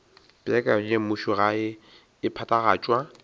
peakanyo ya mmušogae e phethagatšwa